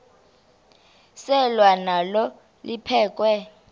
selwa nalo liphekhwe